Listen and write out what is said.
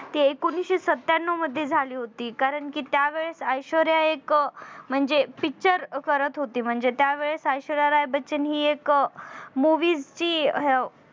ती एकोणीशे सत्यान्नव मध्ये झाली होती. कारण कि त्यावेळेस ऐश्वर्या एक म्हणजे Picture करत होती म्हणजे त्यावेळेस ऐश्वर्या राय बच्चन हि एक movies ची हे अ